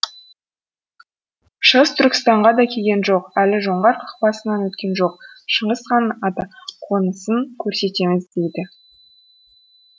шығыс түркістанға да келген жоқ әлі жоңғар қақпасынан өткен жоқ шыңғыс ханның атақонысын көрсетеміз дейді